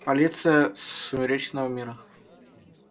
полиция сумеречного мира